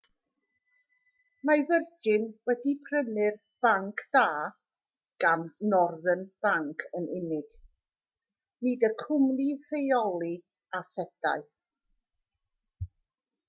mae virgin wedi prynu'r banc da gan northern bank yn unig nid y cwmni rheoli asedau